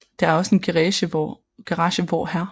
Der er også en garage hvor Hr